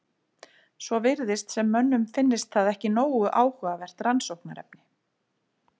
Svo virðist sem mönnum finnist það ekki nógu áhugavert rannsóknarefni.